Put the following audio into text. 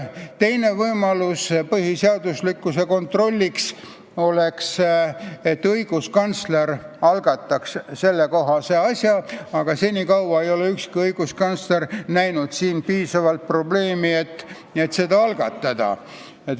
Teine võimalus põhiseaduslikkuse kontrolliks oleks see, kui õiguskantsler algataks sellekohase asja, aga seni ei ole ükski õiguskantsler näinud piisavalt probleemi, et seda algatada.